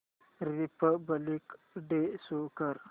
Republic day show कर